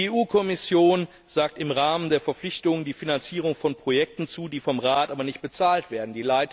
Die EU Kommission sagt im Rahmen der Verpflichtungen die Finanzierung von Projekten zu, die vom Rat aber nicht bezahlt werden.